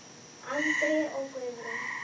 Andri og Guðrún.